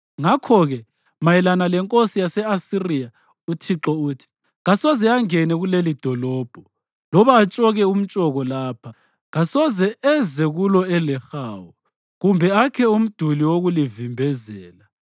Ngakho-ke mayelana lenkosi yase-Asiriya uThixo uthi: Kasoze angene kulelidolobho loba atshoke umtshoko lapha. Kasoze eze kulo elehawu kumbe akhe umduli wokulivimbezela.